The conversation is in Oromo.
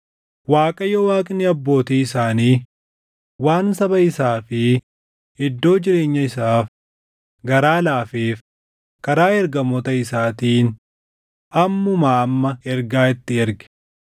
Waaqayyo Waaqni abbootii isaanii waan saba isaa fi iddoo jireenya isaaf garaa laafeef karaa ergamoota isaatiin ammumaa amma ergaa itti erge.